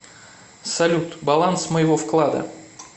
салют баланс моего вклада